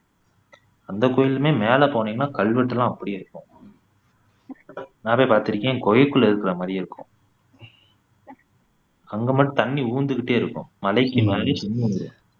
அந்தக் கோயில்லையுமே மேல போனீங்கன்னா கல்வெட்டுல்லாம் அப்படியே இருக்கும் நான் போய் பார்த்து இருக்கேன் குகைகுள்ளே இருக்கிற மாதிரியே இருக்கும் அங்க மட்டும் தண்ணி ஊர்ந்துக்கிட்டே இருக்கும் மலைக்கு மேல